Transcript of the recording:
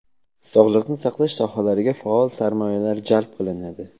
sog‘liqni saqlash sohalariga faol sarmoyalar jalb qilinadi.